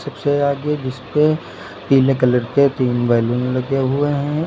उसे आगे जिस पे पीले कलर के तीन बैलून लगे हुए हैं।